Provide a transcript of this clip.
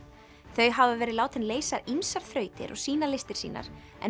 þau hafa verið látin leysa ýmsar þrautir og sýna listir sínar en